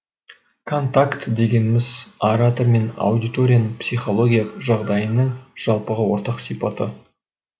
контакт дегеніміз оратор мен аудиторияның психологиялық жағдайының жалпыға ортақ сипаты